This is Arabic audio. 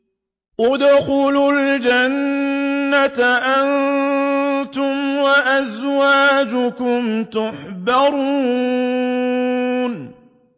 ادْخُلُوا الْجَنَّةَ أَنتُمْ وَأَزْوَاجُكُمْ تُحْبَرُونَ